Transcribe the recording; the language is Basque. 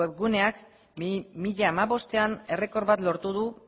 guneak bi mila hamabostean errekor bat lortu du